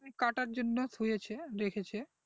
কাটার জন্য থুয়েছে রেখেছে